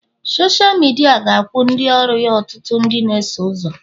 Sọsha midia ga-akwụ ndị ọrụ ya ọtụtụ ndị na-eso ụzọ